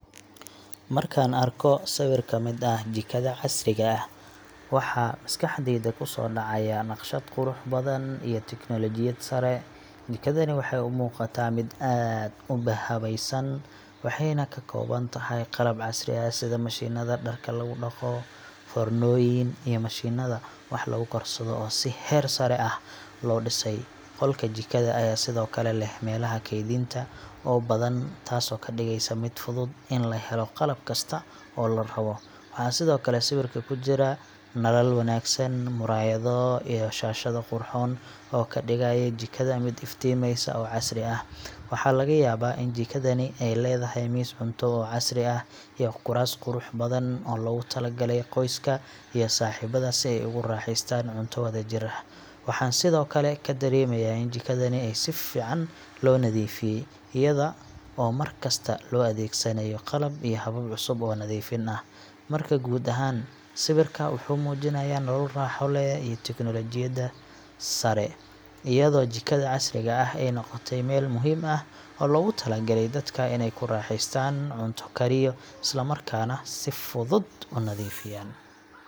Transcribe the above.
Markaan arko sawir ka mid ah jikada casriga ah, waxaa maskaxdayda ku soo dhacaya naqshad qurux badan iyo teknoolojiyad sare. Jikadani waxay u muuqataa mid aad u habaysan, waxayna ka kooban tahay qalab casri ah sida mashiinada dharka lagu dhaqo, foornooyin iyo mishiinada wax lagu karsado oo si heer sare ah loo dhisay. Qolka jikada ayaa sidoo kale leh meelaha kaydinta oo badan, taasoo ka dhigeysa mid fudud in la helo qalab kasta oo la rabo. Waxa sidoo kale sawirka ku jira nalal wanaagsan, muraayado iyo shaashado qurxoon oo ka dhigaya jikada mid iftiimaysa oo casri ah. Waxaa laga yaabaa in jikadani ay leedahay miis cunto oo casri ah iyo kuraas qurux badan oo loogu talagalay qoyska iyo saaxiibada si ay ugu raaxaystaan cunto wadajir ah. Waxaan sidoo kale ka dareemayaa in jikadani ay si fiican loo nadiifiyay, iyada oo mar kasta loo adeegsanayo qalab iyo habab cusub oo nadiifin ah. Marka guud ahaan, sawirka wuxuu muujinayaa nolol raaxo leh iyo tiknoolajiyad sare, iyadoo jikada casriga ah ay noqotay meel muhiim ah oo loogu talagalay dadka inay ku raaxaystaan cunto kariyo, isla markaana si fudud u nadiifiyaan.